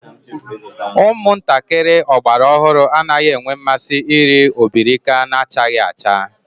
Umuntakiri ogbara ohuru anaghi enwe nmasi iri obirika nachaghi acha